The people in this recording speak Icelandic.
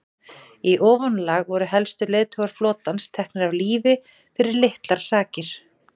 í ofanálag voru helstu leiðtogar flotans teknir af lífi fyrir litlar sakir